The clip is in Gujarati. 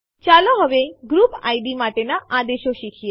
ચાલો હવે ગ્રુપ ઇડ માટેના આદેશો શીખીએ